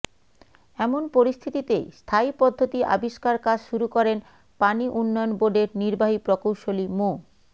এমন পরিস্থিতিতে স্থায়ী পদ্ধতি আবিষ্কার কাজ শুরু করেন পানি উন্নয়ন বোর্ডের নির্বাহী প্রকৌশলী মো